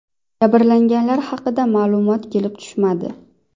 Jabrlanganlar haqida ma’lumot kelib tushmadi.